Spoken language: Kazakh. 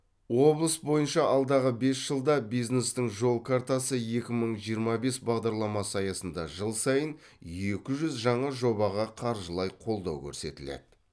облыс бойынша алдағы бес жылда бизнестің жол картасы екі мың жиырма бес бағдарламасы аясында жыл сайын екі жүз жаңа жобаға қаржылай қолдау көрсетіледі